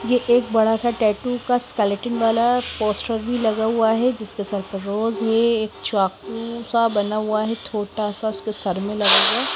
एक बड़ा सा टैटू का स्केलेटन वाला पोस्टर भी लगा हुआ है जिसके सल्फर रोज ये एक चाकू सा बना हुआ है छोटा सा इसके सर में लगा है।